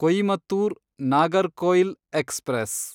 Coimbatore Nagercoil express